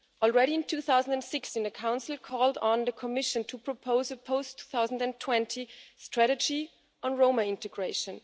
Already, in 2006, the Council called on the Commission to propose a post 2020 strategy on Roma integration.